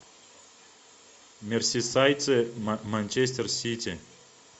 мерсисайдцы манчестер сити